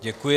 Děkuji.